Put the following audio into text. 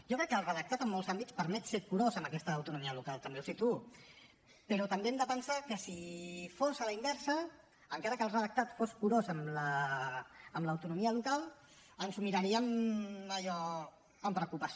jo crec que el redactat en molts àmbits permet ser curós amb aquesta autonomia local també ho situo però també hem de pensar que si fos a la inversa encara que el redactat fos curós amb l’autonomia local ens ho miraríem allò amb preocupació